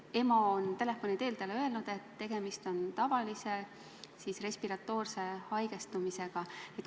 EMO-st on telefoni teel talle öelnud, et tegemist on tavalise respiratoorse haigestumisega.